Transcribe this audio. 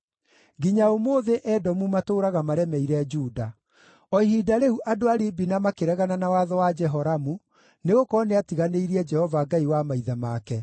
Nginya ũmũthĩ, Edomu matũũraga maremeire Juda. O ihinda rĩu andũ a Libina makĩregana na watho wa Jehoramu, nĩgũkorwo nĩatiganĩirie Jehova, Ngai wa maithe make.